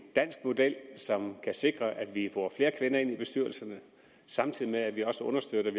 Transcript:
dansk model som kan sikre at vi får flere kvinder ind i bestyrelserne samtidig med at vi også understøtter